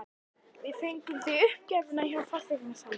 Við fengum þig uppgefna hjá fasteignasalanum.